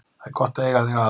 Það er gott að eiga þig að.